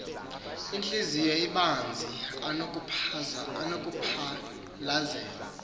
ontliziyo ibanzi anokumphalazela